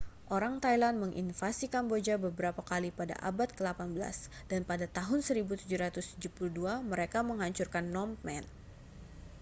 orang thailand menginvasi kamboja beberapa kali pada abad ke-18 dan pada tahun 1772 mereka menghancurkan phnom phen